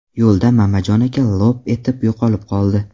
Yo‘lda Mamajon aka lop etib yo‘qolib qoldi.